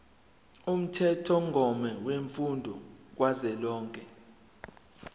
umthethomgomo wemfundo kazwelonke